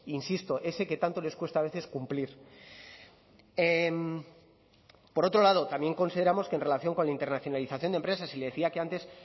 insisto ese que tanto les cuesta a veces cumplir por otro lado también consideramos que en relación con la internacionalización de empresas y le decía que antes